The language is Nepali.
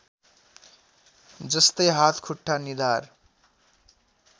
जस्तै हात खुट्टा निधार